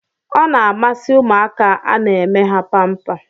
Ọ na-amasị ụmụaka a na-eme ha pampa.